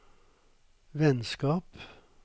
vennskap